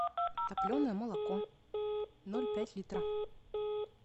топленое молоко ноль пять литра